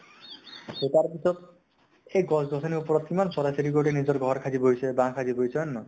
সেই তাৰ পিছত, সেই গছ গছনি ৰ ওপৰত কিমান চৰাই চিৰিকটি নিজৰ ঘৰ সাজি বহিছে, বাহ সাজি বহিছে, হয় নে নহয় ?